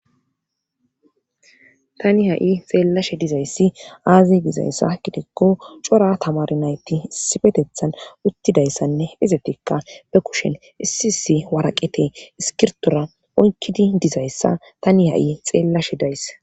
tani ha7i xeellashe dizayssi aazi dizayssa gidekko cora tamar nayti isifetethan uttidayssanne izetikka be kushen issi isi waraqete iskirtora oykidi dizayssa tani ha7i xeellashe days